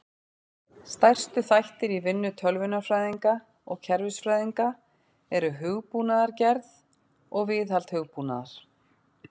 Stærstu þættir í vinnu tölvunarfræðinga og kerfisfræðinga eru hugbúnaðargerð og viðhald hugbúnaðar.